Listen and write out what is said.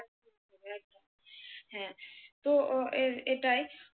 হ্যাঁ তো এটাই